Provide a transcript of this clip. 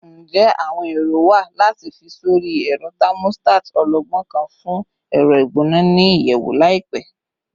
Njẹ awọn ero wa lati fi sori ẹrọ thermostat ọlọgbọn kan fun ẹrọ igbona ni iyẹwu laipẹ?